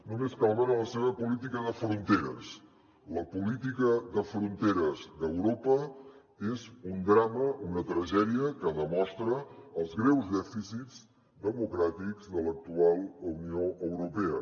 només cal veure la seva política de fronteres la política de fronteres d’europa és un drama una tragèdia que demostra els greus dèficits democràtics de l’actual unió europea